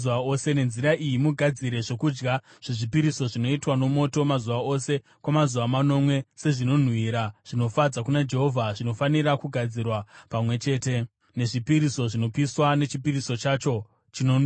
Nenzira iyi mugadzire zvokudya zvezvipiriso zvinoitwa nomoto mazuva ose kwamazuva manomwe sezvinonhuhwira zvinofadza kuna Jehovha; zvinofanira kugadzirwa pamwe chete nezvipiriso zvinopiswa nechipiriso chacho chinonwiwa.